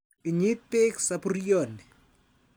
Inyit peek sapuryoni.